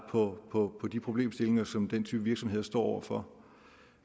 på de problemstillinger som den type virksomheder står over for